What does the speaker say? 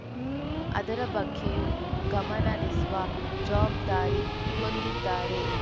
ಅದರ ಬಗ್ಗೆಯೂ ಗಮನರಿಸುವ ಜವಾಬ್ದಾರಿ ಹೊಂದಿದ್ದಾರೆ